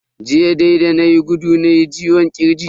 Jiya da nayi gudu nayi ciwon kirji.